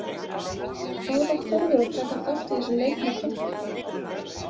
Hvað var Þórður líka að taka þátt í þessum leik með pabba?